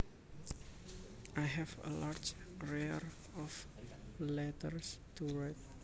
I have a large arrear of letters to write